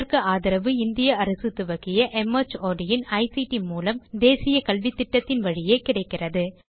இதற்கு ஆதரவு இந்திய அரசு துவக்கிய மார்ட் இன் ஐசிடி மூலம் தேசிய கல்வித்திட்டத்தின் வழியே கிடைக்கிறது